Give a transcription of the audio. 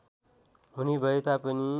हुने भए तापनि